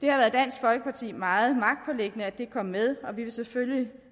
det har været dansk folkeparti meget magtpåliggende at det kom med og vi vil selvfølgelig